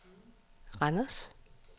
Randers